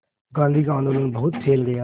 गांधी का आंदोलन बहुत फैल गया